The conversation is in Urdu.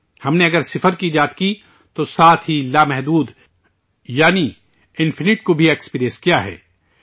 ہم نے اگر صفر کی ایجاد کی، تو ساتھ ہی لا محدود، یعنی انفائنائٹ کو بھی ایکسپریس کیا ہے